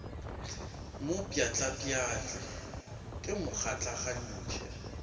mo pšhatlapšhatle ke mo gatlagantšhe